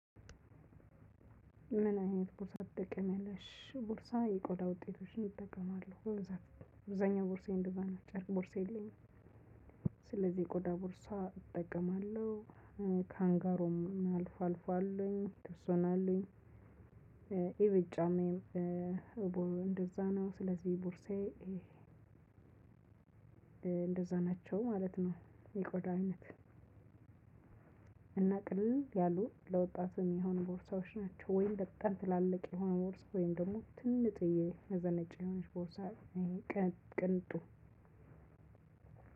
ምን አይነት ቦርሳ ትጠቀሚያለሽ ቦርሳ የቆዳ ውጤቶችን እጠቀማለሁ አብዛኛው ቦርሳዬ እንደዛ ነው ጨርቅ ቦርሳ የለኝም። ስለዚህ ቆዳ ቦርሳ እጠቀማለሁ። ካንጋሮም አልፎ አልፎ አሉኝ የተወሰኑ አሉኝ። የቤት ጫማዬም። እንደዛ ነው ስለዚህ ቡርሳዬ እንደዛ ናቸው ማለት ነው። የቆዳ አይነት። እና ቅልል ያሉ ለወጣት የሚሆኑ ቦርሳዎች ናቸው። ወይም በጣም ትላልቅ የሆነ ቦርሳ ወይም ደግሞ ትንጥዬ ከዛ ነጭ የሆነች ቦርሳ። ቅንጡ